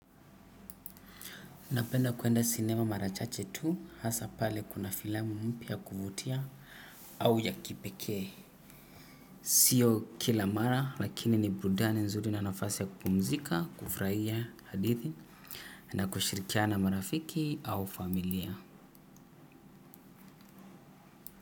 Napenda kuenda sinema mara chache tu hasa pale kuna filamu mpya ya kuvutia au ya kipekee. Sio kila mara lakini ni burudani nzuri na nafasi ya kupumzika kufurahia hadithi na kushirikiana na marafiki au familia.